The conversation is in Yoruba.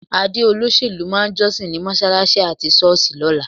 Adé olóṣèlú máa jọ́sìn ní mọ́ṣáláṣí àti ṣọ́ọ̀ṣì lọ́la.